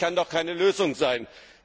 bringen? Das kann doch keine Lösung